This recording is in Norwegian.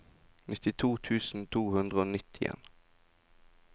nittito tusen to hundre og nittien